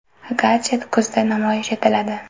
Gadjet kuzda namoyish etiladi.